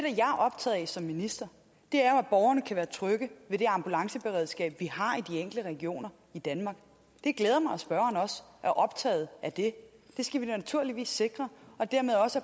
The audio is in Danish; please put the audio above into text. optaget af som minister er at borgerne kan være trygge ved det ambulanceberedskab vi har i regioner i danmark det glæder mig at spørgeren også er optaget af det det skal vi naturligvis sikre og dermed også